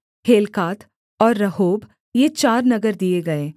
Helkath और Rehob ये चार नगर दिए गए